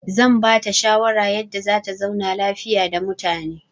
I will advise her on how to leave peacefully with people.